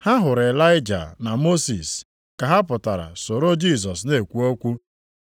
Ha hụrụ Ịlaịja na Mosis ka ha pụtara soro Jisọs na-ekwu okwu.